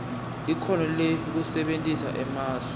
likhono lekusebentisa emasu